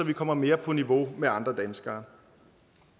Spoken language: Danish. vi kommer mere på niveau med andre danskere